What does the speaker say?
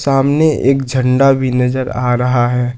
सामने एक झंडा भी नजर आ रहा है।